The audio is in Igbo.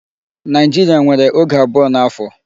Nigeria nwèrè oge abụọ n'afọ.